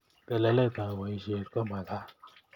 Telelet ab boishet komagat